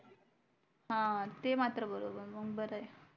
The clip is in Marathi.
हा ते मात्र बरोबर मग बर आहे